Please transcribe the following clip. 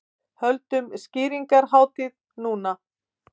Höldum skrýningarhátíð núna!